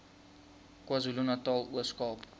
kwazulunatal ooskaap